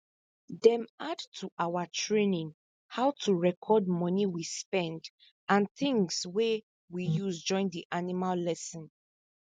dem add to our training how to record money we spend and things wey we use join the animal lesson